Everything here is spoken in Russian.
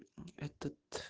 этот